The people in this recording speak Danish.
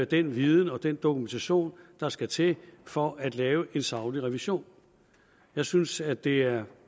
den viden og den dokumentation der skal til for at lave en saglig revision jeg synes at det er